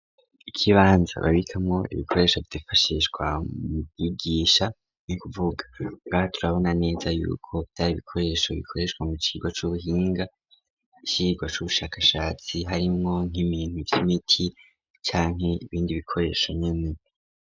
Ikibanza babikamo ibikoresho vyifashishwa mu bigisha n'ukuvuga ngaha turabona neza y'uko vyar ibikoresho bikoreshwa mu kigo c'ubuhinga mu cirwa c'ubushakashatsi harimwo nk'ibintu vy'imiti canke ibindi bikoresho nyene .